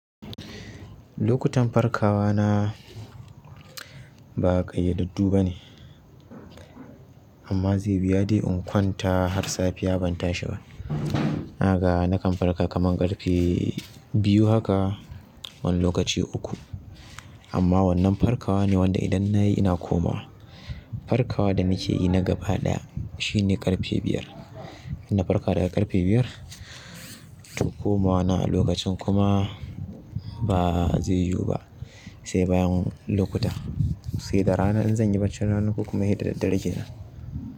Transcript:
Lokutan farkawa na ba ƙa idaddu ba ne, amma zai wuya dai in kwanta har safiya ban tashi ba. Na ga nakan farka kaman ƙarfe biyu haka wani lokaci uku. Amma wannan farkawa ne wanda idan na yi ina komawa. Farkawa da nake yi na gaba ɗaya shi ne ƙarfe biyar. Ina farka daga ƙarfe biyar, tonkomawa na a lokacin kuma ba zai yiwu ba sai bayan lokuta. Sai da rana in zan yi barcin rana ko kuma inyi da daddare kenan.